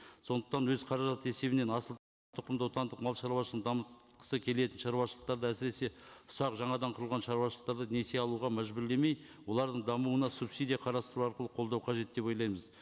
сондықтан өз қаражат есебінен отандық малшаруашылығын дамытқысы келетін шаруашылықтарды әсіресе ұсақ жаңадан құрған шаруашылықтарды несие алуға мәжбүрлемей олардың дамуына субсидия қарастыру арқылы қолдау қажет деп ойлаймыз